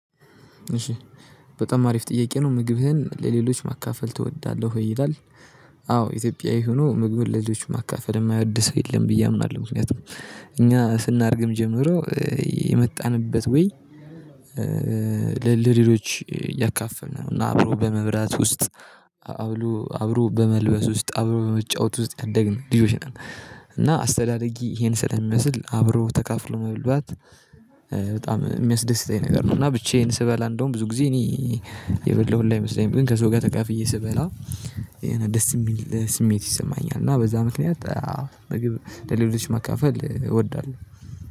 እሺ በጣም አሪፍ ጥያቄ ነው ምግብህን ለሌሎች ማካፈል ትወዳለህ ወይ ይላል? አዎ ኢትዮጵያዊ ሆኖ ምግቡን ለሌሎቹ ማካፈል የማይወድ ሰው የለም ብዬ አምናለሁ። ምክንያቱም እኛ ስናድግም ጀምሮ የመጣንበት ወይ ለ ለሌሎች እያካፈልነ ነው እና አብሮ በመብላት ውስጥ አብሎ አብሮ በመልበስ ውስጥ አብሮ በመጫወት ውስጥ ያደግን ልጆች ነን። እና አስተዳደጊ ይሄን ስለሚመስል አብሮ ተካፍሎ መልባት በጣም የሚያስደስተኝ ነገር ነው። እና ብቻዬን ስበላ እንደውም ብዙ ጊዜ እኔ የበላሁ ሁላ አይመሰለኝም ግን ከሰው ጋር ተካፍዬ ስበላ የሆነ ደስ የሚል ስሜት ይሰማኛል። እና በዛ ምክንያት ምግብ ለሌሎች መካፈል እወዳለሁ